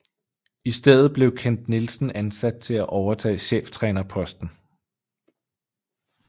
I stedet blev Kent Nielsen ansat til at overtage cheftrænerposten